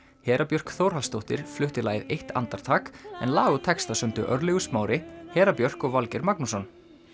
Hera Björk Þórhallsdóttir flutti lagið eitt andartak en lag og texta sömdu Örlygur Smári Hera Björk og Valgeir Magnússon